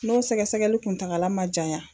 N'o sɛgɛsɛgɛli kuntagala man janyan.